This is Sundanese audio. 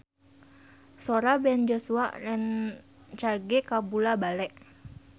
Sora Ben Joshua rancage kabula-bale